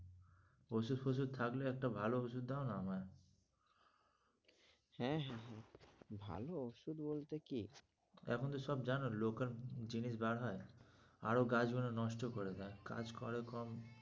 ওষুধ ফসুধ থাকলে একটা ভালো ওষুধ দাও না আমায় হ্যাঁ, হ্যাঁ, হ্যাঁ ভালো ওষুধ বলতে কি? এখন তো সব জানো local জিনিস বার হয় আরও গাছগুলো নষ্ট করে দেয়, কাজ করে কম।